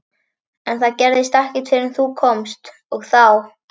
En það gerðist ekkert fyrr en þú komst, og þá.